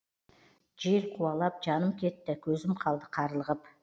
жел қуалап жаным кетті көзім қалды қарлығып